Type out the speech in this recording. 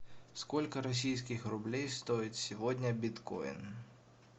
сколько российских рублей стоит сегодня биткоин